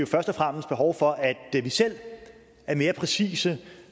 først og fremmest behov for at vi selv er mere præcise